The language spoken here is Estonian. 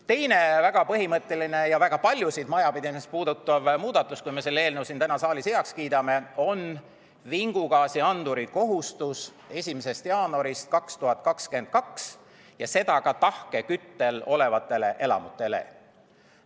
Teine väga põhimõtteline ja väga paljusid majapidamisi puudutav muudatus, kui me selle eelnõu täna saalis heaks kiidame, on vingugaasianduri kohustus 1. jaanuarist 2022 ja seda ka tahkeküttel olevatele elamutele.